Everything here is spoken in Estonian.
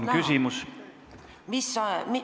Palun küsimust!